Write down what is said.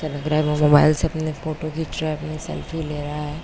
ऐसा लग रहा है वो मोबाइल से अपनी फोटो खीच रहा है। अपनी सेल्फी ले रहा है।